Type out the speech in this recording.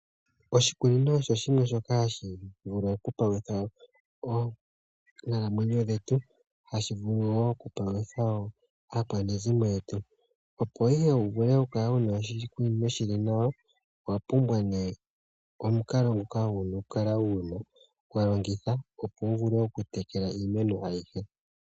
Oshikunino osho shimwe shoka hashi vulu okupalutha oonkalamwenyo dhetu, ohashi vulu wo okupalutha aakwanezimo yetu opo wu vule okukala wu na oshikunino shi li nawa, owa pumbwa omukalo ngoka wu na okukala wu na okulongitha opo wu vule okutekela iimeno ayihe.